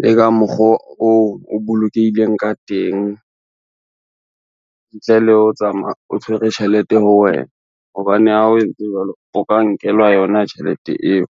Le ka mokgoo o bolokehileng ka teng, ntle le ho tsamaya o tshwere tjhelete ho wena, hobane ha o entse jwalo o ka nkelwa yona tjhelete eo.